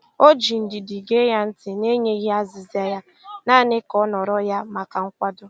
O ji ndidi gee ya ntị n'enyeghị azịza ya, naanị ka ọ nọrọ ya maka nkwado.